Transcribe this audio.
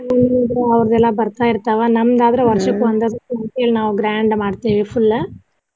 ಆಹ್ ಹೌದ್ರಿ ಅವ್ರದೆಲ್ಲಾ ಬರ್ತಾ ಇರ್ತಾವ ನಮ್ದ ಆದ್ರ ವರ್ಷಕ್ಕ ಒಂದೇ ಸರ್ತಿ ಅದಕ್ಕ ಅಂತ ಹೇಳಿ ನಾವ grand ಮಾಡ್ತೇವಿ full .